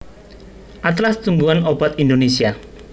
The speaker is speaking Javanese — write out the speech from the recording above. Atlas Tumbuhan Obat Indonesia